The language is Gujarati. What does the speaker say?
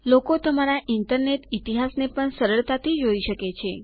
લોકો તમારા ઇન્ટરનેટ ઇતિહાસ ને પણ સરળતા થી જોઈ શકે છે